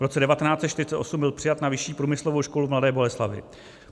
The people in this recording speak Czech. V roce 1948 byl přijat na Vyšší průmyslovou školu v Mladé Boleslavi.